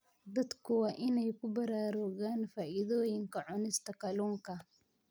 Dadku waa inay ku baraarugaan faa'iidooyinka cunista kalluunka.